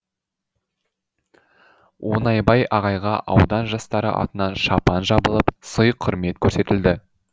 оңайбай ағайға аудан жастары атынан шапан жабылып сый құрмет көрсетілді